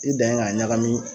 I dan ye k'a ɲagami